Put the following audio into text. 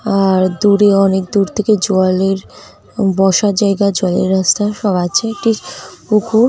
আর দূরে অনেক দূর থেকে জলের বসার জায়গা জলের রাস্তা সব আছে একটি পুকুর ।